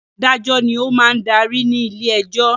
Adájọ́ ni ó máa ń darí ní ilé-ẹjọ́.